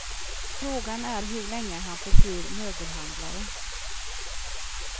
Frågan är hur länge han förblir möbelhandlare.